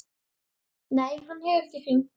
Nei, hann hefur ekki hringt.